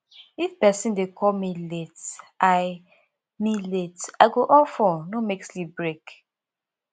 if person dey call me late i me late i go off phone no make sleep break